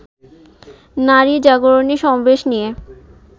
নারী জাগরণী সমাবেশ নিয়ে